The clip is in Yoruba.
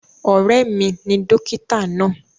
Ọ̀rẹ́ mi ni dókítà náà.